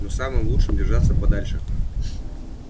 но самым лучше держаться подальше